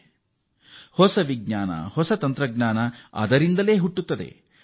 ಇದುವೇ ಹೊಸ ವಿಜ್ಞಾನ ಹೊಸ ತಂತ್ರಜ್ಞಾನದ ಬುನಾದಿ